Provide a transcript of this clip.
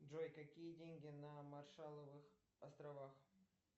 джой какие деньги на маршаловых островах